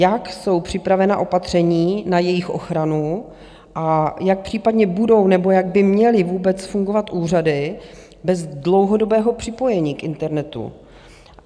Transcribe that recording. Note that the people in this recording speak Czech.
Jak jsou připravena opatření na jejich ochranu a jak případně budou nebo jak by měly vůbec fungovat úřady bez dlouhodobého připojení k internetu?